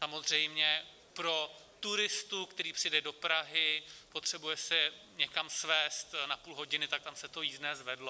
Samozřejmě pro turistu, který přijede do Prahy, potřebuje se někam svézt na půl hodiny, tak tam se to jízdné zvedlo.